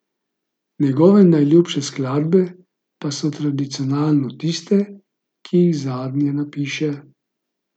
Njegove najljubše skladbe pa so tradicionalno tiste, ki jih zadnje napiše.